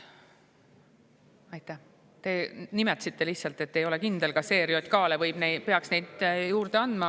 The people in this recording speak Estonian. Te lihtsalt, et te ei ole kindel, kas ERJK‑le peaks neid juurde andma.